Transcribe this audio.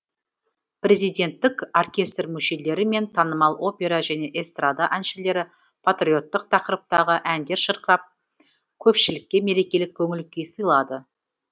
президенттік оркестр мүшелері мен танымал опера және эстрада әншілері патриоттық тақырыптағы әндер шырқап көпшілікке мерекелік көңіл күй сыйлады